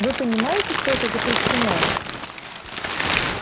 вы понимаете что это запрещено